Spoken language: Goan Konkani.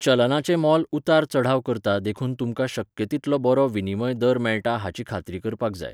चलनाचें मोल उतार चढाव करता देखून तुमकां शक्य तितलो बरो विनिमय दर मेळटा हाची खात्री करपाक जाय.